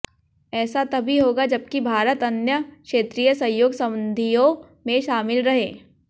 ऐसा तभी होगा जबकि भारत अन्य क्षेत्रीय सहयोग संधियों में शामिल रहे